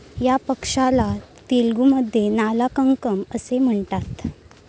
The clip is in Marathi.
या पक्ष्याला तेलगुमधे नाला कंकमम असे म्हणतात.